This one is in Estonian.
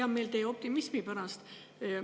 Hea meel on teie optimismi pärast.